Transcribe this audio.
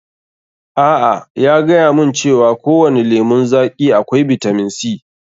A'a, ya gayamun cewa kowani lemun zaƙi akwai bitamin C.